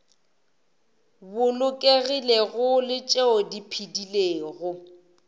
bolokegilego le tšeo di phedilego